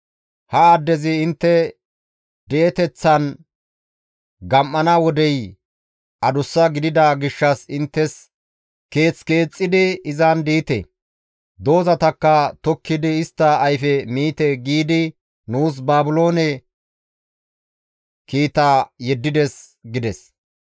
Ha addezi, ‹Intte di7eteththan gam7ana wodey adussa gidida gishshas inttes keeth keexxidi izan diite; doozatakka tokkidi istta ayfe miite› giidi nuus Baabiloone kiita yeddides» gides.